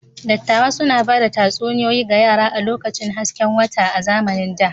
Dattawa suna ba da tatsuniyoyi ga yara a lokacin hasken wata a zamanin da.